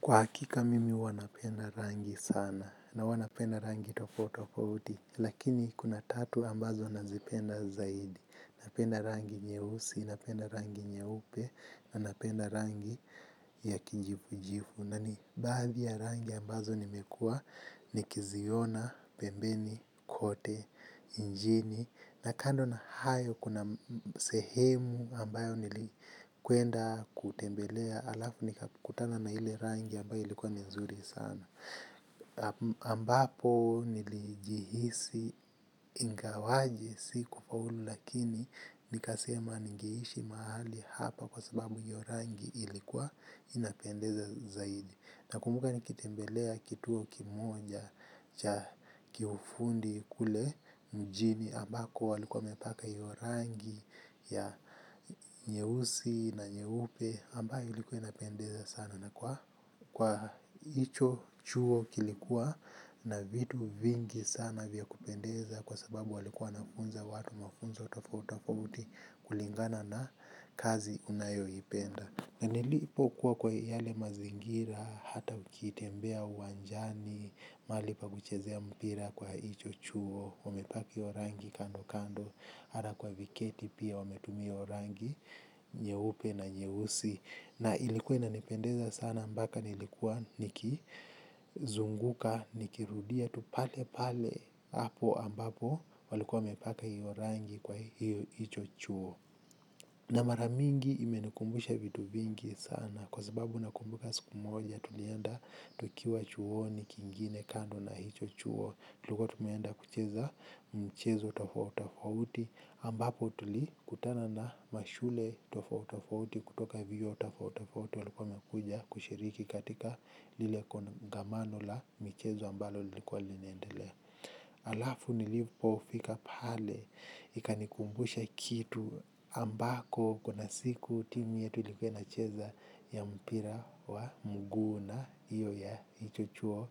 Kwa hakika, mimi huwanapenda rangi sana na huwanapenda rangi tofauti tofa uti, lakini kuna tatu ambazo nazipenda zaidi. Napenda rangi nye usi, napenda rangi nye upe, napenda rangi ya kijifu jifu. Nani, baadhi ya rangi ambazo nimekua ni kiziona, pembeni, kote, njini. Na kando na hayo kuna sehemu ambayo nilikuenda kutembelea alafu nikakutana na hile rangi ambayo ilikuwa ni nzuri sana ambapo nilijihisi ingawaji si kufaulu lakini nikasema nigeishi maali hapa kwa sababu nyo rangi ilikuwa inapendeza zaidi. Na kumbuka nikitembelea kituo kimoja cha kiufundi kule mjini ambako walikuwa wamepaka iyo rangi ya nyeusi na nyeupe ambayo ilikuwa inapendeza sana na kwa icho chuo kilikuwa na vitu vingi sana vya kupendeza kwa sababu walikuwa wanafunza watu mafunzo tofoa utafo utafouti kulingana na kazi unayo ipenda. Na nilipo kuwa kwa yale mazingira, hata ukitembea uwanjani, malipa kuchezea mpira kwa hicho chuo, wamepaki orangi kando kando, ara kwa viketi pia wame tumia iyo rangi, nyehupe na nyehusi. Na ilikuwa inanipendeza sana mpaka nilikuwa nikizunguka nikirudia palepale hapo ambapo walikuwa wamepaka hiyo rangi kwa hicho chuo. Na mara mingi imenikumbusha vitu vingi sana kwa sababu nakumbuka siku moja tulienda tukiwa chuoni kingine kando na hicho chuo. Tulikuwa tume enda kucheza michezo tofauti tofauti ambapo tulikutana na mashule tofauti tofauti kutoka vyuo tofauti tofauti walikuwa wamekuja kushiriki katika lile kongamano la michezo ambalo lilikuwa linaendelea. Alafu nilipo fika pale, ikanikumbusha kitu ambako kuna siku timu yetu ilikuwa ina cheza ya mpira wa mguu na hiyo ya hicho chuo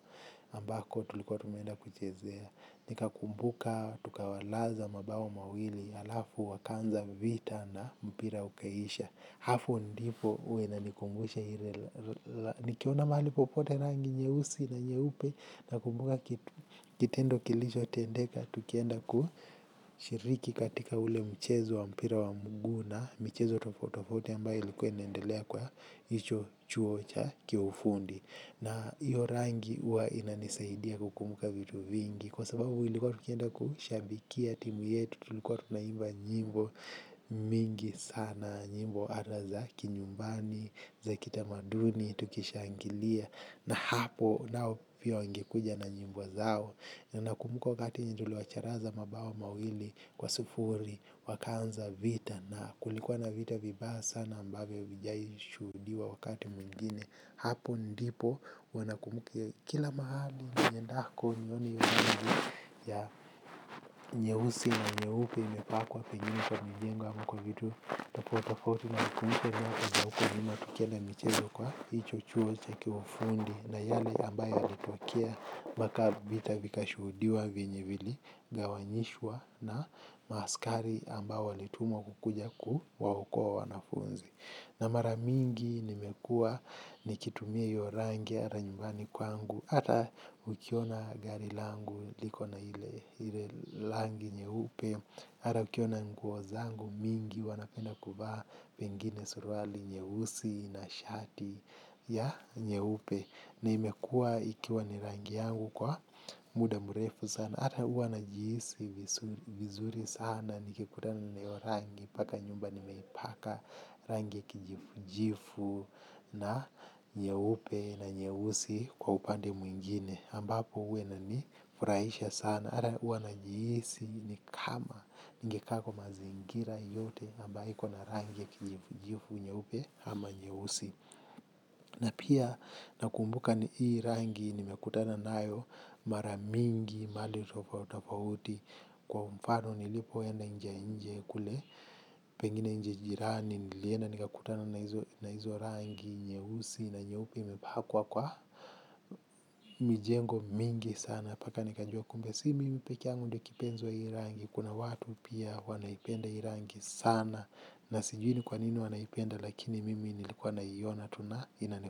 ambako tulikuwa tumeenda kuchezea. Nika kumbuka tukawalaza mabao mawili alafu wakaanza vita na mpira ukaisha. Hapo ndipo huwa ina nikumbusha ile nikiona mahali popote rangi nyeusi na nyeupe na kumbuka kitendo kilicho tendeka. Tukienda kushiriki katika ule mchezo wa mpira wa mguu na mchezo tofauti tofauti ambayo ilikuwa inaendelea kwa hicho chuo cha kiufundi. Na hiyo rangi huwa inanisaidia kukumbuka vitu vingi. Kwa sababu ilikuwa tukienda kushabikia timu yetu tulikuwa tunaimba nyimbo mingi sana, nyimbo hata za kinyumbani za kitamaduni tukishangilia na hapo nao pia wangekuja na nyimbo zao. Nakumbuka wakati yenye tuliwacharaza mabao mawili kwa sufuri wakaanza vita na kulikuwa na vita vibaya sana ambavyo vijahishudiwa wakati mwingine. Hapo ndipo wana kumukia kila mahali, niendako, nyoni yungi ya nyeusi na nyeupe imepakwa penjimu kwa minjenga mkwa vitu tapo tapauti wana kumukia wana uko njima tukele michezo kwa hicho chuo cha kiwufundi na yale ambaye alitwakia baka vita vika shuhudiwa vinyivili gawanyishwa na ma askari ambao walitumwa kukuja ku waokoa wanafunzi. Na mara mingi nimekua nikitumia hiyo rangi hata nyumbani kwangu hata ukiona gari langu likona ile rangi nyeupe hata nikiwa na nguo zangu mingi huwa napenda kuvaa pengine suruali nyeusi na shati nyeupe imekuwa rangi yangu vizuri sana nikikutana na hiyo rangi paka nyumba nimeipaka rangi kijifu na nyeupe na nyeusi kwa upande mwingine ambapo uwe nani furaisha sana hata huwa najiisi ni kama ngekako mazingira yote amba hiko na rangi kijifu nyeupe ama nyeusi na pia nakumbuka ni hii rangi nimekutana nayo mara mingi mahali tofauti tofauti kwa mfano nilipoenda nchi ya nje kule pengine nchi jirani nilienda nikakutana na hizo rangi nyeusi na nyepe imepakwa kwa mijengo mingi sana mpaka nikajua kumbe si mimi pekeyangu ndiye kipenzi wa hii rangi kuna watu pia wanaipenda hii rangi sana na sijui ni kwa nini wanaipenda lakini mimi nilikuwa naiona tu na inani.